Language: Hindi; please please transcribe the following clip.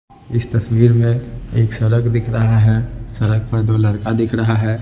इस तस्वीर में एक सड़क दिख रहा है सड़क पर दो लड़का दिख रहा है।